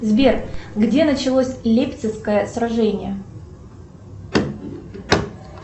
сбер где началось лейпцигское сражение